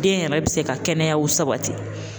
Den yɛrɛ bi se ka kɛnɛyaw sabati